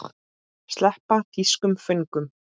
Sleppa þýskum föngum?